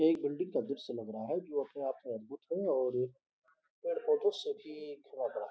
यह एक बिल्डिंग का दृश्य लग रहा है जो अपने आप में अद्भुत है और पेड़ पौधे से भी है।